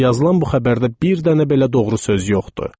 Yazılan bu xəbərdə bir dənə belə doğru söz yoxdur.